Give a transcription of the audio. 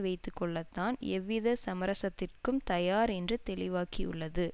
வைத்து கொள்ள தான் எவ்வித சமரசத்திற்கும் தயார் என்று தெளிவாக்கியுள்ளது